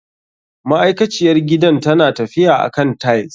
Ma'aikaciyar gidan tana tafiya akan tiles.